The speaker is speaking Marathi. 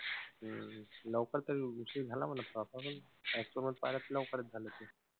हम्म लवकर तरी उशीर झाला म्हणा तसा पण लवकरच झालं ते.